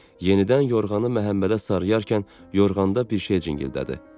Yenidən yorğanı Məhəmmədə sarıyarkən yorğanda bir şey cingildədi.